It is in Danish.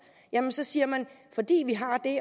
så siger man at fordi vi har det